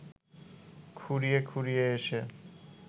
খুঁড়িয়ে খুঁড়িয়ে এসে